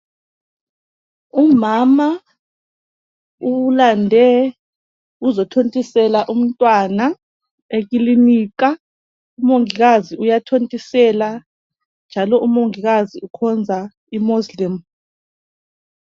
Umama ulande ukuzothontisela umntwana ekilinika umongikazi uyathontisela njalo umongikazi ukhonza imozilemu.